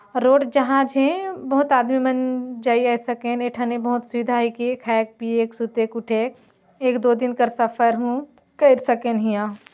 road जहाँ झे बहुत आदमी मन जई आए सकेन ए ठने बहोत सुविधा हिके खाएके पिएके सुतेक उठेक एक दो दिन कर सफर हु कर सकेन हिया--